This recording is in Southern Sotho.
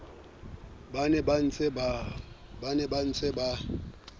ba neng ba ntse ba